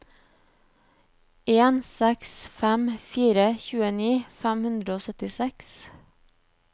en seks fem fire tjueni fem hundre og syttiseks